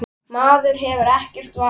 Maður hefur ekkert val.